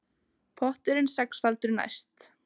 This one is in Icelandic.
Potturinn sexfaldur næst